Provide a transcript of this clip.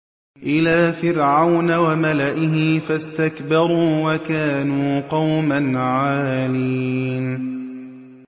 إِلَىٰ فِرْعَوْنَ وَمَلَئِهِ فَاسْتَكْبَرُوا وَكَانُوا قَوْمًا عَالِينَ